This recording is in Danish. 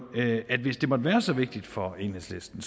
at hvis det måtte være så vigtigt for enhedslisten